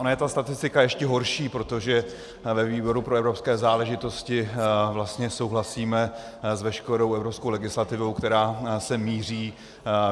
Ona je ta statistika ještě horší, protože ve výboru pro evropské záležitosti vlastně souhlasíme s veškerou evropskou legislativou, která sem míří.